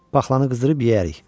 Paxlanı qızdırıb yeyərik.